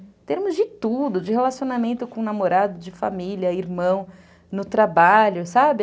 Em termos de tudo, de relacionamento com namorado, de família, irmão, no trabalho, sabe?